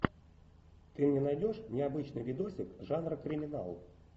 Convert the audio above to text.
ты мне найдешь необычный видосик жанр криминал